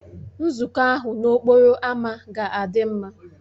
Nzukọ ahụ n'okporo ámá ga-adị mma